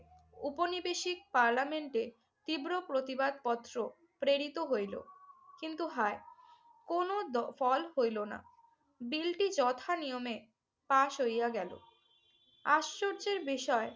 ঔপনিবেশিক পার্লামেন্টে তীব্র প্রতিবাদ পত্র প্রেরিত হইল। কিন্তু হায় কোনো ফল হইল না। বিলটি যথানিয়মে পাশ হইয়া গেল। আশ্চর্যের বিষয়